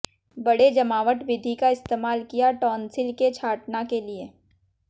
बड़े जमावट विधि का इस्तेमाल किया टॉन्सिल के छांटना के लिए